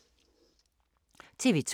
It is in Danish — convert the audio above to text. TV 2